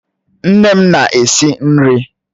Nne m na-esi nri